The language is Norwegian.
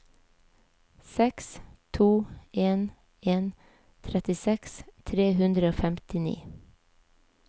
seks to en en trettiseks tre hundre og femtini